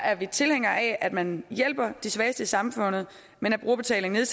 er vi tilhængere af at man hjælper de svageste i samfundet men at brugerbetalingen